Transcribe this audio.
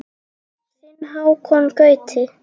Þinn Hákon Gauti.